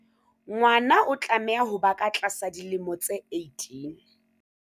Ngwana o tlameha ho ba ka tlasa dilemo tse 18.